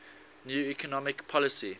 new economic policy